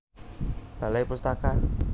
Balai Pustaka